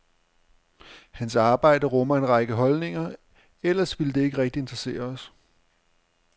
Hans arbejde rummer en række holdninger, ellers ville det ikke rigtig interessere os.